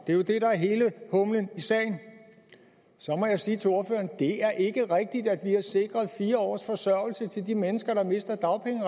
det er jo det der er hele humlen i sagen så må jeg sige til ordføreren det er ikke rigtigt at vi har sikret fire års forsørgelse til de mennesker der mister